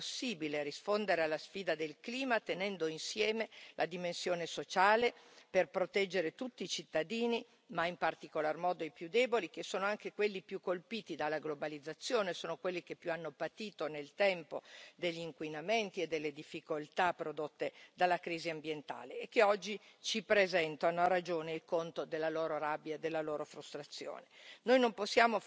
Io credo che sia possibile rispondere alla sfida del clima tenendo insieme la dimensione sociale, per proteggere tutti i cittadini, ma in particolar modo i più deboli, che sono anche quelli più colpiti dalla globalizzazione, quelli che più hanno patito nel tempo degli inquinamenti e delle difficoltà prodotte dalla crisi ambientale e che oggi ci presentano, a ragione, il conto della loro rabbia e della loro frustrazione.